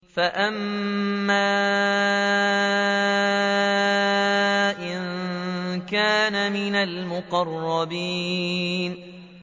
فَأَمَّا إِن كَانَ مِنَ الْمُقَرَّبِينَ